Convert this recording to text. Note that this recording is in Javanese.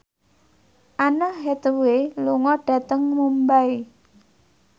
Anne Hathaway lunga dhateng Mumbai